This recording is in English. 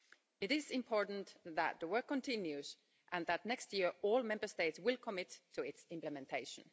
It is important that the work continues and that next year all Member States will commit to its implementation.